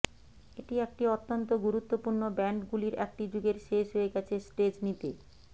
এটি একটি অত্যন্ত গুরুত্বপূর্ণ ব্যান্ডগুলির একটি যুগের শেষ হয়ে গেছে স্টেজ নিতে